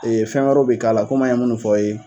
fɛn wɛrɛw bɛ k'a la, komi an ye minnu f'aw ye.